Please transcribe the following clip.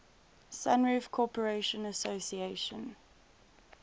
sunroof corporation asc